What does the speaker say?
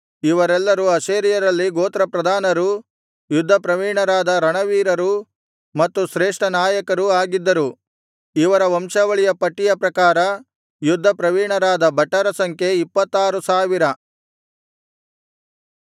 ಇವರೆಲ್ಲರು ಆಶೇರ್ಯರಲ್ಲಿ ಗೋತ್ರಪ್ರಧಾನರೂ ಯುದ್ಧಪ್ರವೀಣರಾದ ರಣವೀರರೂ ಮತ್ತು ಶ್ರೇಷ್ಠ ನಾಯಕರೂ ಆಗಿದ್ದರು ಇವರ ವಂಶಾವಳಿಯ ಪಟ್ಟಿಯ ಪ್ರಕಾರ ಯುದ್ಧ ಪ್ರವೀಣರಾದ ಭಟರ ಸಂಖ್ಯೆ ಇಪ್ಪತ್ತಾರು ಸಾವಿರ